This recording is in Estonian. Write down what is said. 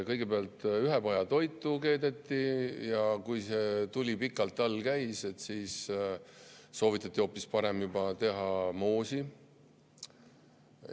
Kõigepealt keedeti ühepajatoitu ja kui tuli pikalt all oli, siis soovitati teha juba hoopis moosi.